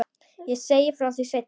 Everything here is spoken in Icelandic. Ég segi frá því seinna.